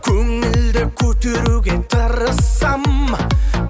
көңілді көтеруге тырыссам